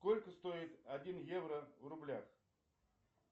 сколько стоит один евро в рублях